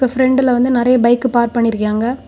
இப்ப பிரண்ட்ல வந்து நெறைய பைக் பார்க் பண்ணிருக்காயிங்க.